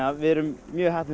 við erum mjög heppnir